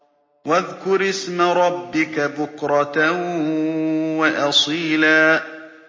وَاذْكُرِ اسْمَ رَبِّكَ بُكْرَةً وَأَصِيلًا